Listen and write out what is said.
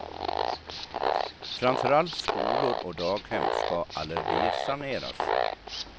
Framför allt skolor och daghem ska allergisaneras.